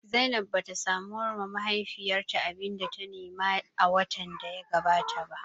Zainab bata samu ba wa mahaifiyarta abinda ta nema a watan da ya gabata ba